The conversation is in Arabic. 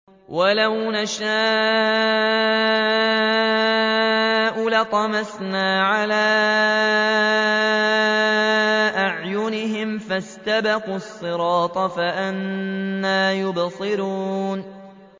وَلَوْ نَشَاءُ لَطَمَسْنَا عَلَىٰ أَعْيُنِهِمْ فَاسْتَبَقُوا الصِّرَاطَ فَأَنَّىٰ يُبْصِرُونَ